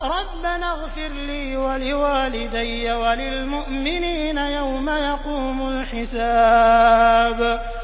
رَبَّنَا اغْفِرْ لِي وَلِوَالِدَيَّ وَلِلْمُؤْمِنِينَ يَوْمَ يَقُومُ الْحِسَابُ